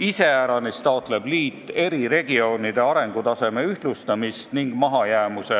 Iseäranis taotleb liit eri regioonide arengutaseme ühtlustamist ning mahajäämuse